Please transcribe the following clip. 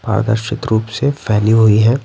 पारदर्शित रूप से फैली हुई हैं ।